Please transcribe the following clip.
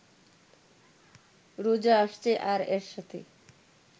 রোজা আসছে আর এর সাথে